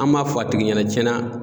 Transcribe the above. An b'a fɔ a tigi ɲɛnɛ tiɲɛna.